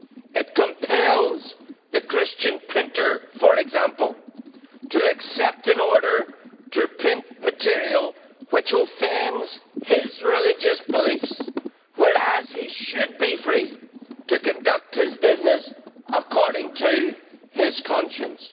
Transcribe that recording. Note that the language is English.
It compels the Christian printer, for example, to accept an order to print material which offends his religious beliefs, whereas he should be free to conduct his business according to his conscience.